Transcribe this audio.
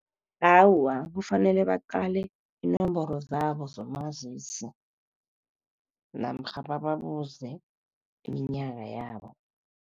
Awa, kufanele baqale iinomboro zabo zomazisi namkha babuze iminyaka yabo.